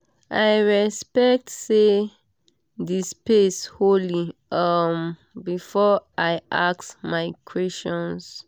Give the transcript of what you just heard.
i respect say the space holy um before i ask my questions.